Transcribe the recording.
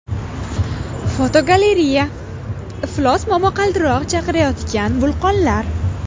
Fotogalereya: Iflos momaqaldiroq chaqirayotgan vulqonlar.